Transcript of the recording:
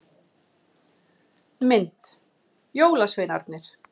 Mynd: Jólasveinarnir.